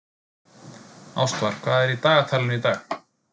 Ástvar, hvað er í dagatalinu í dag?